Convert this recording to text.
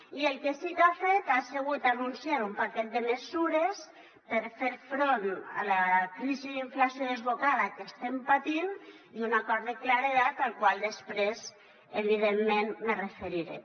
i el que sí que ha fet ha sigut anunciar un paquet de mesures per fer front a la crisi d’inflació desbocada que estem patint i un acord de claredat al qual després evidentment me referiré